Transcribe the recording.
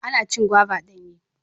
Ana cin gwaiva danye.